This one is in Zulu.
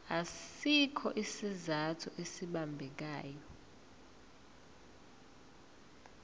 asikho isizathu esibambekayo